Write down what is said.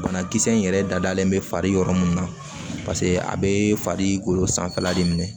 Banakisɛ in yɛrɛ dadalen bɛ fari yɔrɔ mun na a bɛ fari golo sanfɛla de minɛ